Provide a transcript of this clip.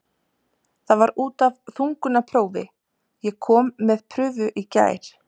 Það var út af þungunarprófi, ég kom með prufu í gær.